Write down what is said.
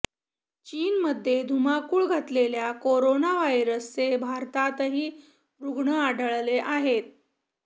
चीनमध्ये धुमाकूळ घातलेल्या करोना व्हायरसचे भारतातही रुग्ण आढळले आहेत